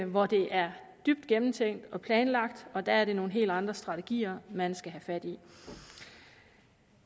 hvor det er dybt gennemtænkt og planlagt og der er det nogle helt andre strategier man skal have fat i